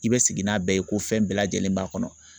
I bɛ sigi n'a bɛɛ ye ko fɛn bɛɛ lajɛlen b'a kɔnɔ